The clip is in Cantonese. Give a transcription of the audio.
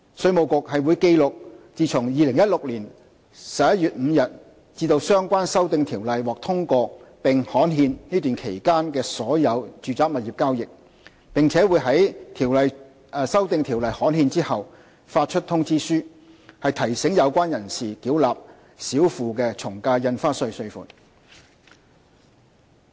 稅務局會記錄自2016年11月5日至相關修訂條例獲通過並刊憲這段期間的所有住宅物業交易，並於修訂條例刊憲後發出通知書，提醒有關人士繳納少付的從價印花稅稅款。